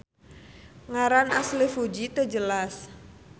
Ngaran asli Fuji teu jelas.